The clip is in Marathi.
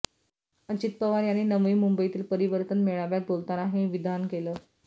अजित पवार यांनी नवी मुंबईतील परिवर्तन मेळाव्यात बोलताना हे विधान केलं